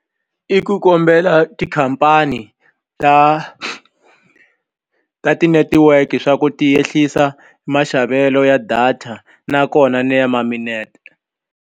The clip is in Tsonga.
I ku kombela tikhampani ta ta ti-network swa ku ti ehlisa maxavelo ya data nakona ni ya ma minete.